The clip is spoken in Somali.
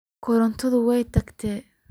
Korontadhi way tagtey.